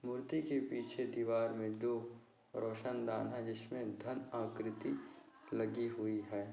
मूर्ति के पीछे दीवार मे दो रोशनदान है जिसमे धन आकृति लगी हुई है।